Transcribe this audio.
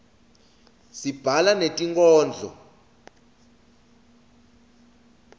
sibhala netinkhondlo